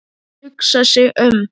Þau hugsa sig um.